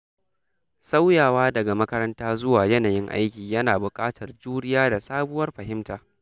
Sauyawa daga makaranta zuwa yanayin aiki yana buƙatar juriya da sabuwar fahimta.